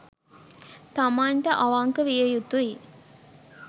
තමන්ට අවංක විය යුතු යි.